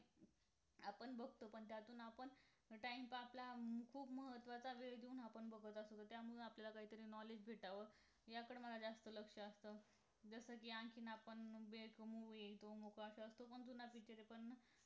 आपण बघतो पण त्यातून आपण time pass अं खूप महत्वाचा वेळ देऊन आपण बघत असतो त्यामुळे आपल्याला काहीतरी knowledge भेटावं याकडे माझं जास्त लक्ष असतं जस कि आणखी आपण वेळ कमवून वेळ असा तो पण जुना picture आहे